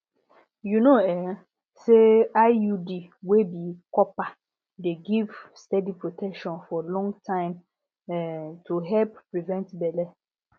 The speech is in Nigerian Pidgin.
you know um say iud wey be copper dey give steady protection for long time um to help prevent belle